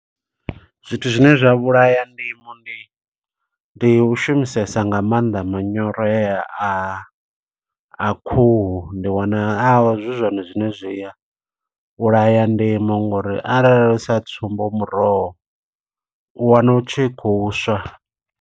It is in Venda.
Zwithu zwine zwa vhulaha ndima ndi, ndi u shumisesa nga maanḓa manyoro heya a a khuhu. Ndi wana a zwi zwone zwine zwi a vhulaya ndima, ngo uri arali sa tsumbo muroho, u wana u tshi khou swa.